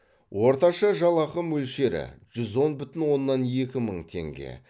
орташа жалақы мөлшері жүз он бүтін оннан екі мың теңге